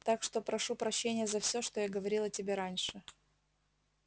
так что прошу прощения за всё что я говорил о тебе раньше